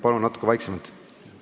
Palun natuke vaiksemalt!